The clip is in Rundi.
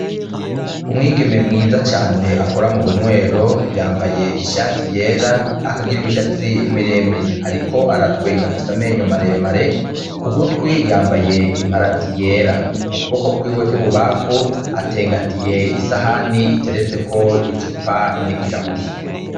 Umwigeme mwiza cane akora mubunywero yambaye ishati yera akagira imishatsi miremire ariko aratwenga afise amenyo maremare kugutwi yambaye imparati yera mu kuboko kwiwe kwibubamfu atengatiye isahani iteretseko icupa nikirahuri.